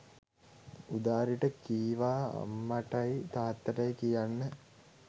උදාරිට කීවා අම්මටයි තාත්තටයි කියන්න